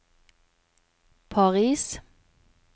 Paris